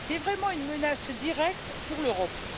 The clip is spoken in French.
C'est vraiment une menace directe pour l'Europe.